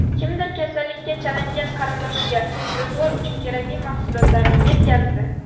Kimdir kasallikka chalingan qarindoshiga ro‘zg‘or uchun kerakli mahsulotlarni yetkazdi.